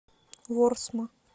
ворсма